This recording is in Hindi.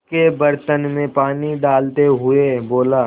उसके बर्तन में पानी डालते हुए बोला